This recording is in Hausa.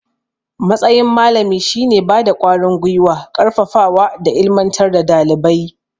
Matsayin malami shine bada ƙwarin gwiwa, ƙarfafawa da ilimantar da dalibai